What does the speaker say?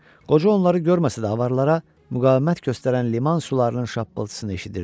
Qoca onları görməsə də avaralara müqavimət göstərən liman sularının şappıltısını eşidirdi.